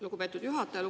Lugupeetud juhataja!